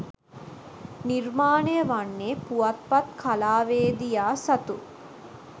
නිර්මාණය වන්නේ පුවත්පත් කලාවේදියා සතු